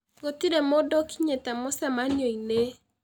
Gũtirĩ mũndũ ũkinyĩte mũcemanio-inĩ